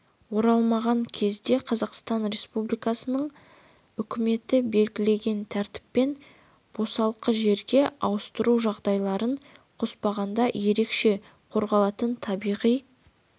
болмаған кезде қазақстан республикасының үкіметі белгілеген тәртіппен босалқы жерге ауыстыру жағдайларын қоспағанда ерекше қорғалатын табиғи